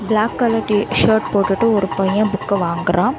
Black colour T-shirt போட்டுட்டு ஒரு பைய புக்க வாங்குறா.